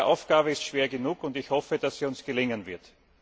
Diese Aufgabe ist schwer genug, und ich hoffe, dass sie uns gelingen wird.